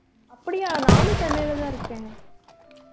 அப்படியா நானும் சென்னையிலதான் இருக்கேன்